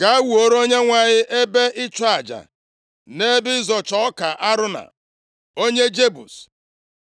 “Gaa, wuore Onyenwe anyị ebe ịchụ aja nʼebe ịzọcha ọka Arauna, onye Jebus.”